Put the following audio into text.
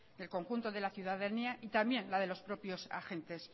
del conjunto de la ciudadanía y también la de los propios agentes